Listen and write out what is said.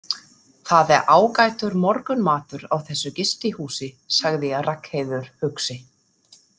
Það er ágætur morgunmatur á þessu gistihúsi, sagði Ragnheiður hugsi.